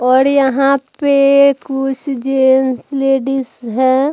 और यहाँ पे कुछ जेंट्स लेडीज हैं।